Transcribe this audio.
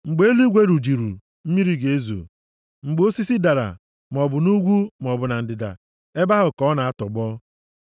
Mgbe eluigwe rujiri, mmiri ga-ezo; mgbe osisi dara, maọbụ nʼugwu maọbụ na ndịda, ebe ahụ ka ọ na-atọgbọ.